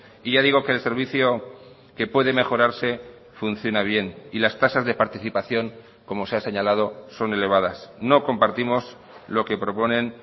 y ya digo que el servicio que puede mejorarse funciona bien y las tasas de participación como se ha señalado son elevadas no compartimos lo que proponen